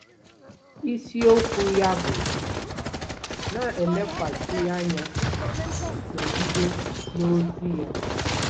Isiokwu okwu ya bụ “ Na-elekwasị anya, Nọgide n’Ozi Ya .”.”